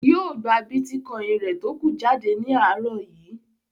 Yóò gba bítíkọ́ìn rẹ̀ tókù jáde ní àárọ̀ yìí.